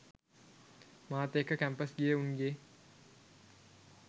මාත් එක්ක කැම්පස් ගිය උන්ගේ